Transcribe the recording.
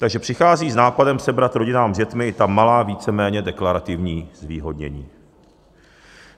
Takže přicházejí s nápadem sebrat rodinám s dětmi i ta malá, víceméně deklarativní zvýhodnění.